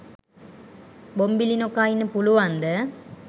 බොම්බිලි නොකා ඉන්න පුළුවන්ද?